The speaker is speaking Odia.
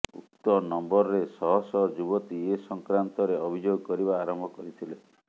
ଉକ୍ତ ନମ୍ବରରେ ଶହ ଶହ ଯୁବତୀ ଏ ସଂକ୍ରାନ୍ତରେ ଅଭିଯୋଗ କରିବା ଆରମ୍ଭ କରିଥିଲେ